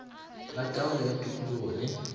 la taolo ya tikologo le